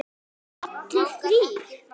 Allir þrír?